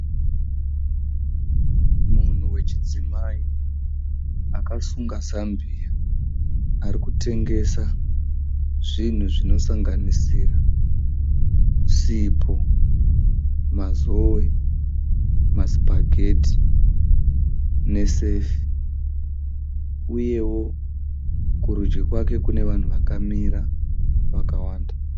Munhu wechidzimai. Akasunga zambia. Arikutengesa zvinhu zvinosanganisira sipo, mazowe, masipageti nesefi uyewo kurudyi kwake kune vanhu vakamira vakawanda.